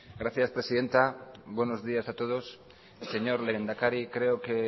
gracias presidenta buenos días a todos señor lehendakari creo que